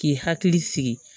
K'i hakili sigi